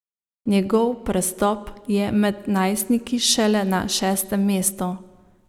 Njegov prestop je med najstniki šele na šestem mestu.